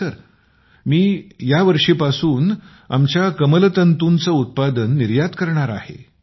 होय सर मी यावर्षीपासून आमच्या कमलतंतूचे उत्पादन निर्यात करणार आहे